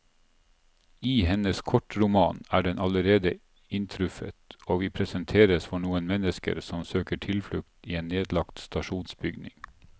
I hennes kortroman er den allerede inntruffet, og vi presenteres for noen mennesker som søker tilflukt i en nedlagt stasjonsbygning.